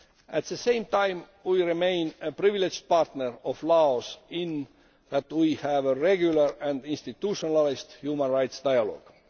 At the same time, we remain a privileged partner of Laos, in that we have a regular and institutionalised human rights dialogue.